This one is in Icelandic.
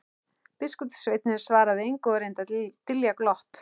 Biskupssveinninn svaraði engu og reyndi að dylja glott.